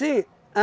Sim.